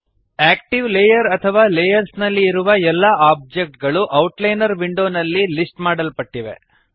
active layer ಅಥವಾ layers ನಲ್ಲಿ ಇರುವ ಎಲ್ಲ ಆಬ್ಜೆಕ್ಟ್ ಗಳು ಔಟ್ಲೈನರ್ ವಿಂಡೋನಲ್ಲಿ ಲಿಸ್ಟ್ ಮಾಡಲ್ಪಟ್ಟಿವೆ